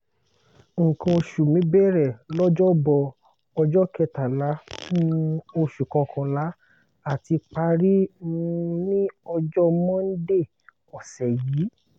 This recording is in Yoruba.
nkan osu mi bẹ̀rẹ̀ lọ́jọ́bọ̀ ọjọ́ kẹtàlá um oṣù kọ̀kànlá àti parí um ní ọjọ́ mọ́ndé ọ̀sẹ̀ yìí